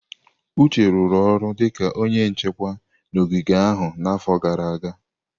Uche rụrụ ọrụ dịka onye nchekwa n'ogige ahụ n'afọ gara aga.